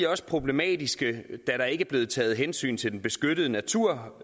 også problematiske da der ikke er blevet taget hensyn til den beskyttede natur